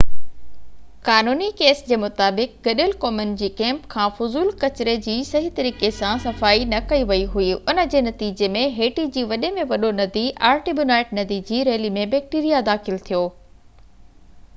قانوني ڪيس جي مطابق گڏيل قومن جي ڪئمپ کان فضول ڪچري جي صحيح طريقي سان صفائي نه ڪئي وئي هئي ان جي نتيجي ۾ هيٽي جي وڏي ۾ وڏو ندي آرٽيبونائيٽ ندي جي ريلي ۾ بيڪٽيريا داخل ٿيو